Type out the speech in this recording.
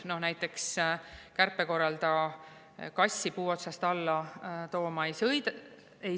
Noh, näiteks kärpe korral ei sõida kassi puu otsast alla tooma.